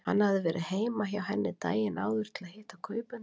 Hann hafði verið heima hjá henni daginn áður til að hitta kaupendur.